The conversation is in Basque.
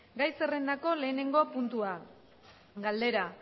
gai zerrendako lehenengo puntua galdera